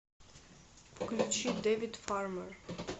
включи дэвид фармер